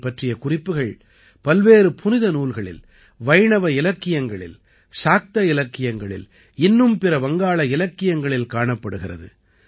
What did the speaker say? இதைப் பற்றிய குறிப்புகள் பல்வேறு புனித நூல்களில் வைணவ இலக்கியங்களில் சாக்த இலக்கியங்களில் இன்னும் பிற வங்காள இலக்கியங்களில் காணப்படுகிறது